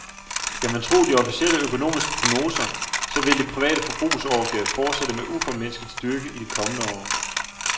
Skal man tro de officielle økonomiske prognoser, så vil det private forbrugsorgie fortsætte med uformindsket styrke i de kommende år.